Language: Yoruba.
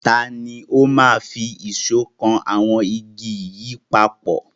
Tani ó máa fi ìṣọ́ kan àwọn igi yẹn papọ̀?